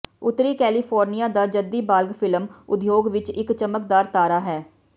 ਉੱਤਰੀ ਕੈਲੀਫੋਰਨੀਆ ਦਾ ਜੱਦੀ ਬਾਲਗ ਫ਼ਿਲਮ ਉਦਯੋਗ ਵਿੱਚ ਇੱਕ ਚਮਕਦਾਰ ਤਾਰਾ ਹੈ